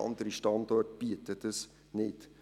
Andere Standorte bieten das nicht.